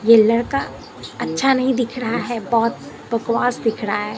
ये लड़का अच्छा नहीं दिख रहा है बहोत बकवास दिख रहा है।